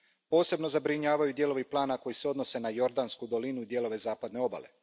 Posebno zabrinjavaju dijelovi plana koji se odnose na Jordansku dolinu i dijelove Zapadne obale.